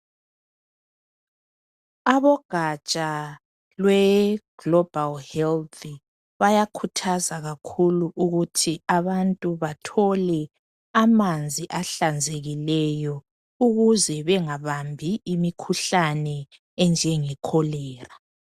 Ugatsha we Global health bayakhuthaza kakhulu ukuthi abantu bathole amanzi ahlanzekileyo ukuze bengabambi imikhuhlane enjenge cholera.